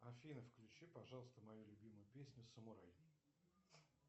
афина включи пожалуйста мою любимую песню самурай